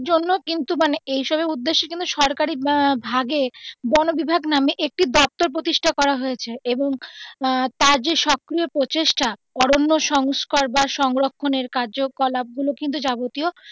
এইসবের জন্যেও কিন্তু মানে এই সবের উদ্যেশে কিন্তু সরকারি ভাগে বনবিভাগ নামে একটি প্রতিষ্ঠা করা হয়েছে এবং তার যে সক্রিয় প্রচেষ্টা অরণ্য সংস্কার বা সংরক্ষণের কার্যকলাপ গুলো কিন্তু যাবতীয়.